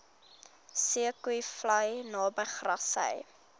zeekoevlei naby grassy